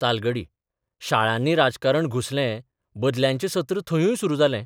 तालगडी शाळांनी राजकारण घुसलें बदल्यांचें सत्र धंयूय सुरू जालें.